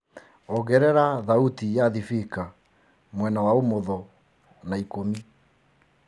ongerera thaũtĩ ya thibika mwena wa umotho na ĩkũmĩ